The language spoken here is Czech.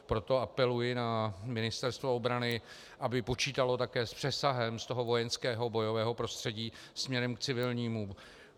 Proto apeluji na Ministerstvo obrany, aby počítalo také s přesahem z toho vojenského bojového prostředí směrem k civilnímu.